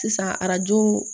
Sisan arajo